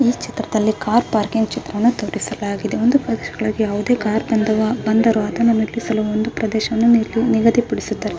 ಈ ಚಿತ್ರದಲ್ಲಿ car parking ಚಿತ್ರವನ್ನು ತೋರಿಸಲಾಗಿದೆ ಒಂದು ಯಾವುದೇ ಕಾರ್ ಬಂದರು ಅದನ್ನು ನಿಲ್ಲಿಸಲು ಒಂದು ಪ್ರದೇಶವನ್ನು ನಿಗದಿ ಪಡಿಸಿದೆ --